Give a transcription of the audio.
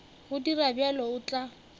go dira bjalo o tla